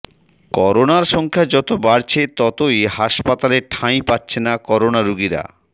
করোনার সংখ্যা যত বাড়ছে ততই হাসপাতালে ঠাঁই পাচ্ছে না করোনা রোগীরা